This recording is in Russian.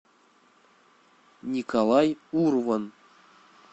николай урван